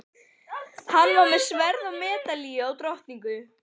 Hann var með sverð og medalíu og drottningu.